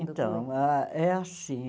Então, ah é assim.